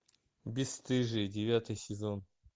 бесстыжие девятый сезон